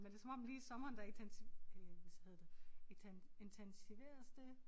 Men det som om lige i sommeren der intens øh hvad hedder det intens intensiveres det